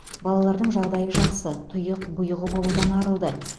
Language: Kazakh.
балалардың жағдайы жақсы тұйық бұйығы болудан арылды